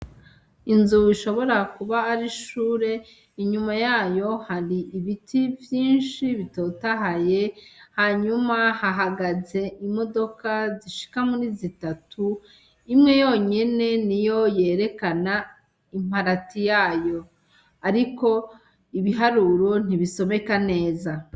Inzu ishobora kuba ar'ishure inyuma yayo hari ibiti vyinshi bitotahaye hanyuma hahagaze imodoka zishika muri zitatu imwe yonyene niyo yerekana iparati yayo, ariko ibiharuro ntibisomeka neza.